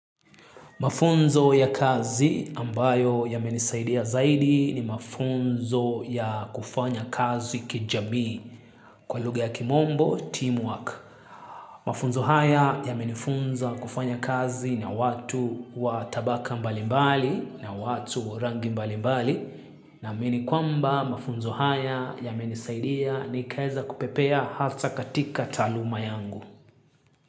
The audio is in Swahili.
Mafunzo ya kazi ambayo yamenisaidia zaidi ni mafunzo ya kufanya kazi kijamii kwa luga ya kimombo, teamwork. Mafunzo haya yamenifunza kufanya kazi na watu wa tabaka mbalimbali na watu wa rangi mbalimbali. Naamini kwamba mafunzo haya yamenisaidia ni kaeza kupepea hata katika taaluma yangu.